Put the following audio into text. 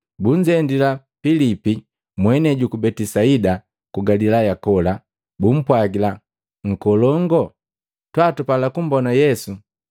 Bunzendila Pilipi, mwenei juku Betisaida ku Galilaya kola, bumpwagila, “Nkolongoo, twaa tupala kumbona Yesu.”